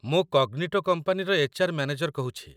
ମୁଁ କଗ୍ନିଟୋ କମ୍ପାନୀର HR. Manager କହୁଛି